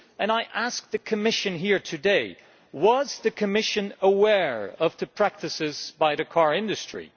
I ask the Commission here today was the Commission aware of the practices by the car industry?